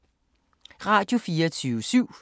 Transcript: Radio24syv